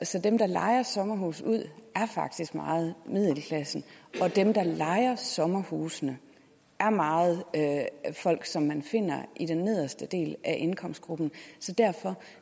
så dem der lejer sommerhuse ud er faktisk meget middelklassen og dem der lejer sommerhusene er meget folk som man finder i den nederste del af indkomstgrupperne